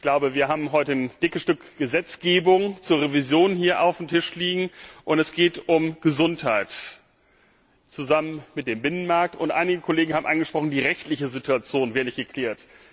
Ich glaube, wir haben heute ein dickes Stück Gesetzgebung zur Revision auf dem Tisch liegen, und es geht um Gesundheit zusammen mit dem Binnenmarkt und einige Kollegen haben angesprochen, die rechtliche Situation sei nicht geklärt.